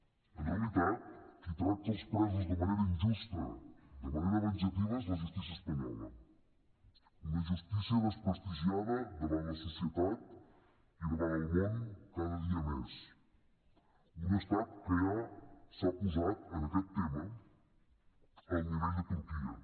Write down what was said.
en realitat qui tracta els presos de manera injusta de manera venjativa és la justícia espanyola una justícia desprestigiada davant la societat i davant el món cada dia més un estat que ja s’ha posat en aquest tema al nivell de turquia